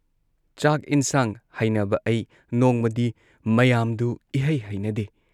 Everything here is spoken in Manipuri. ꯆꯥꯛ ꯏꯟꯁꯥꯡ ꯍꯩꯅꯕ ꯑ ꯩ ꯅꯣꯡꯃꯗꯤ ꯃꯌꯥꯝꯗꯨ ꯏꯍꯩ ꯍꯩꯅꯗꯦ ꯫